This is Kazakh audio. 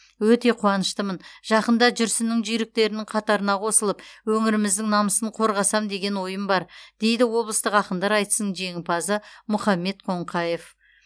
өте қуаныштымын жақында жүрсіннің жүйріктерінің қатарына қосылып өңіріміздің намысын қорғасам деген ойым бар дейді облыстық ақындар айтысының жеңімпазы мұхаммед қоңқаев